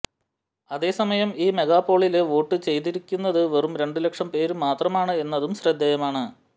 അതേസമയം ഈ മെഗാപോളില് വോട്ടു ചെയ്തിരിക്കുന്നത് വെറും രണ്ടുലക്ഷം പേര് മാത്രമാണ് എന്നതും ശ്രദ്ധേയമാണ്